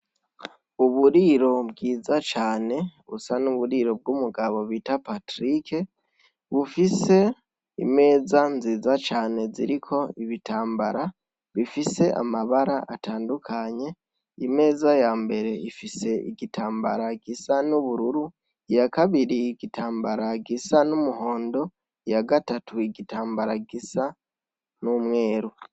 Uburiro bwiza cane busa n'uburiro bw'umugabo bita patrike bufise imeza nziza cane ziriko ibitambara bifise amabara atandukanye imeza ya mbere ifise igitambara gisa n'ubururu iyakabiriye igitamba mbara gisa n'umuhondo ya gatatu igitambara gisa n'umweru.